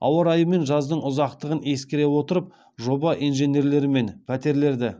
ауа райы мен жаздың ұзақтығын ескере отырып жоба инженерлерімен пәтерлерді